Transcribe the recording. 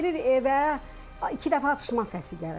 Girir evə, iki dəfə atışma səsi gəlir.